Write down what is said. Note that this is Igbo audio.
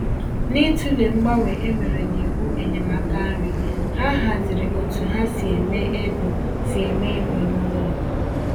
N’ịtụle mgbanwe e mere n’iwu enyemaka nri, ha hazịrị otú ha si eme égo si eme égo n'ụlọ